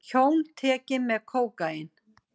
Hjón tekin með kókaín